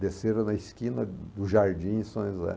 Desceram na esquina do Jardim São José.